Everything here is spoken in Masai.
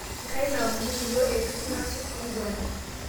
Ngai naamonoki yuo eitu kingasu nkugwana